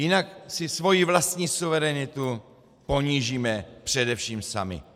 Jinak si svoji vlastní suverenitu ponížíme především sami.